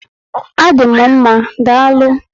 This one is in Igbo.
A dị m mmá, daalụ